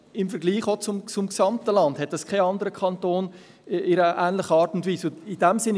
Im Vergleich zum gesamten Land ist dies bei keinem anderen Kanton in einer ähnlichen Art und Weise der Fall.